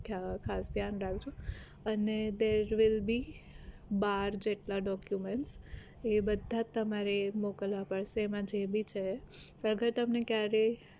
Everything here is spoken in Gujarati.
ખાસ ધ્યાન રાખજો અને there will be બાર જેટલા documents એ બધા તમારે મોકલવા પડશે એમાં જે ભી છે અગર તમને ક્યારેય